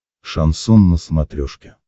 шансон на смотрешке